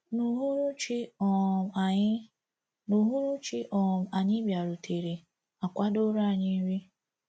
N’uhuruchi um anyị N’uhuruchi um anyị bịarutere, a kwadooro anyị nri.